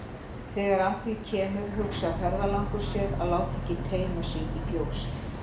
Þegar að því kemur hugsar ferðalangur sér að láta ekki teyma sig í fjósið.